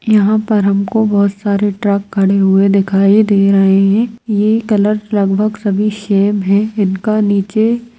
यहाँ पर हमको बहोत सारे ट्रक खड़े हुए दिखाई दे रहे है ये कलर लगभग सभी शेम है इनका नीचे --